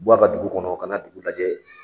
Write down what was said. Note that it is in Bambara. buwa da dugu kɔnɔ ka na dugu lajɛ